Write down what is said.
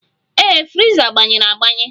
Ee, friza gbanyere agbanye.